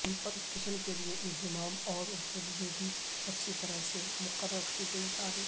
inspection کے لئے انضمام اور ان کے لئے اچھی طرح سے مقرر کی تاریخ